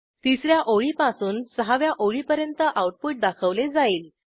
तिस या ओळीपासून सहाव्या ओळीपर्यंत आऊटपुट दाखवले जाईल